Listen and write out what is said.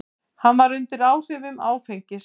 Hann var undir áhrifum áfengis.